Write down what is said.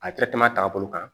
A ta taabolo kan